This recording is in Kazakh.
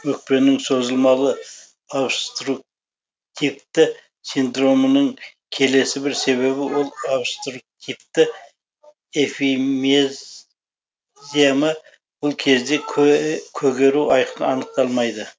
өкпенің созылмалы обструктивті синдромының келесі бір себебі ол обструктивтік эмфи зема бұл кезде көгеру айқын анықталмайды